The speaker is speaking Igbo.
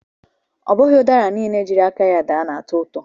Ọbụghị ụdara niile jiri aka ya daa na-atọ ụtọ